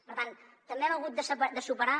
per tant també hem hagut de superar